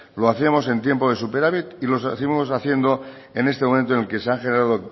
lo hacíamos en tiempo de superávit y lo seguimos haciendo en este momento en el se han generado